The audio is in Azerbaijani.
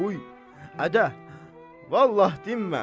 Bu, Ədə, vallah dinmirəm.